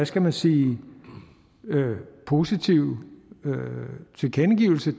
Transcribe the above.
skal man sige positive tilkendegivelse